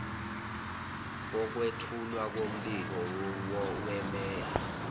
kokwethulwa kombiko wemeya